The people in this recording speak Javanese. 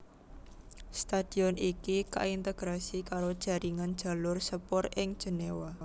Stadion iki kaintegrasi karo jaringan jalur sepur ing Jenewa